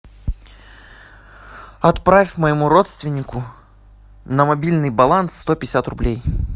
отправь моему родственнику на мобильный баланс сто пятьдесят рублей